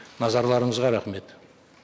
назарларыңызға рахмет